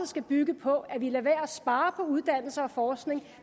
skal bygge på at vi lader være at spare uddannelse og forskning